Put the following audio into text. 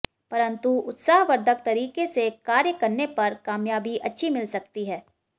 परंतु उत्साहवर्द्धक तरीके से कार्य करने पर कामयाबी अच्छी मिल सकती है